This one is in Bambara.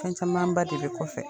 Fɛn camanba de bɛ kɔfɛ